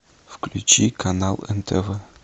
включи канал нтв